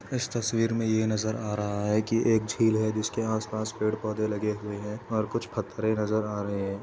इस तस्वीर में नजर आ रहा है कि एक झील है जिसके आसपास पेड़ पौधे लगे हुए हैं और कुछ पथेरे नजर आ रहे हैं।